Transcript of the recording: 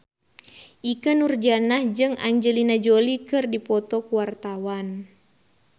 Ikke Nurjanah jeung Angelina Jolie keur dipoto ku wartawan